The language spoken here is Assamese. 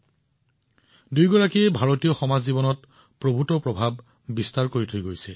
তেওঁলোক দুয়োজনে ভাৰতীয় সমাজৰ ওপৰত গভীৰ প্ৰভাৱ পেলাইছে